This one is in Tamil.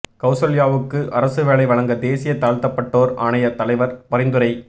கவுசல்யாவுக்கு அரசு வேலை வழங்க தேசிய தாழ்த்தப்பட்டோர் ஆணைய தலைவர் பரிந்துரை